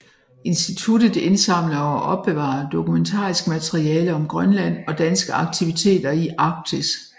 Instituttet indsamler og opbevarer dokumentarisk materiale om Grønland og danske aktiviteter i Arktis